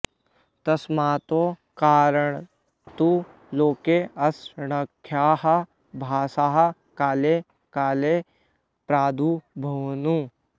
तस्मात् कारणात् लोके असङ्ख्याः भाषाः काले काले प्रादुरभूवन्